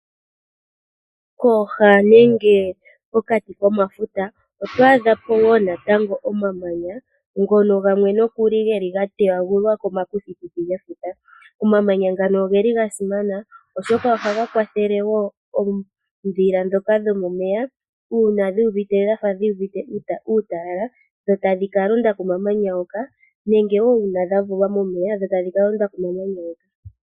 Pooha nenge pokati komafuta oto adhapo omamanya ngono gamwe geli miipambu sha etithwa komakuthikuthi gefuta. Omamanya ngano ogasimana oshoka ohaga kwathele oondhila dhomeya uuna dhu uvite uutalala ohadhi kalonda komamanya hoka nenge ngele dhavulwamo momeya.